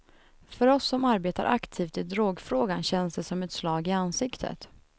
För oss som arbetar aktivt i drogfrågan känns det som ett slag i ansiktet.